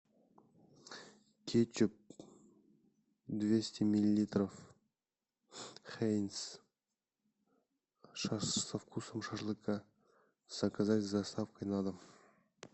кетчуп двести миллилитров хейнс со вкусом шашлыка заказать с доставкой на дом